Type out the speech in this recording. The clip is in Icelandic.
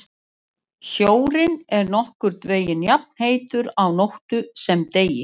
Sjórinn er nokkurn veginn jafnheitur á nóttu sem degi.